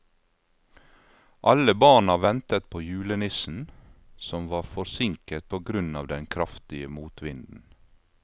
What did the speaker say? Alle barna ventet på julenissen, som var forsinket på grunn av den kraftige motvinden.